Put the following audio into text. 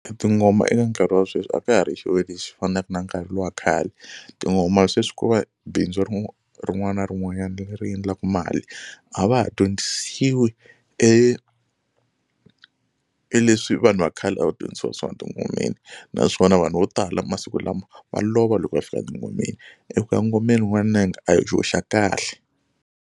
Tingoma eka nkarhi wa sweswi a ka ha ri xilo lexi fanaka na nkarhi luwa khale tingoma sweswi kova bindzu rin'wana na rin'wanyana leri endlaku mali a va ha dyondzisiwi e e leswi vanhu va khale a va dyondzisiwa swona tingomeni naswona vanhu vo tala masiku lama va lova loko va fika tingomeni eku ya ngomeni n'wananga a hi xa kahle.